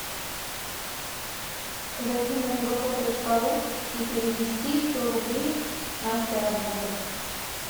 зайти на мегафон точка ру и перевести сто рублей настя работа